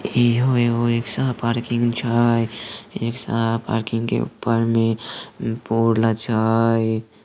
ये यो हो यो हो एक छा पार्किंग सा है सा पार्किंग के ऊपर में बोल छा य।